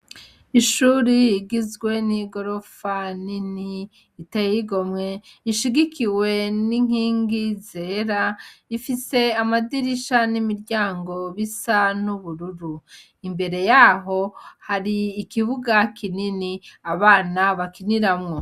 Ishure rigizwe n' igorofa nini riteye igomwe rishigikiwe n' inkingi zera rifise amadirisha n' imiryango bisa n' ubururu imbere yaho hari ikibuga kinini abana bakiniramwo.